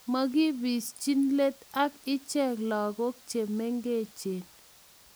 makibischi let ak ichek lagok che mengechen